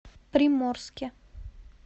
приморске